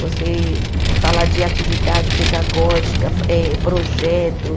Você falar de atividade pedagógica, fa eh projeto.